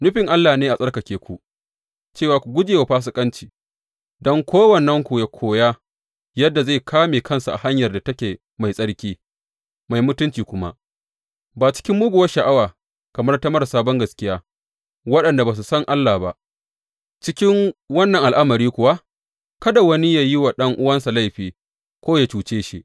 Nufin Allah ne a tsarkake ku, cewa ku guje wa fasikanci; don kowannenku yă koya yadda zai ƙame kansa a hanyar da take mai tsarki, mai mutunci kuma, ba cikin muguwar sha’awa kamar ta marasa bangaskiya, waɗanda ba su san Allah ba; cikin wannan al’amari kuwa kada wani yă yi wa ɗan’uwansa laifi ko yă cuce shi.